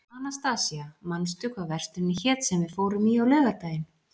Anastasía, manstu hvað verslunin hét sem við fórum í á laugardaginn?